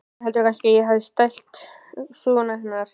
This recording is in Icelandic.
Hann heldur kannski að ég hafi stælt sögurnar hennar.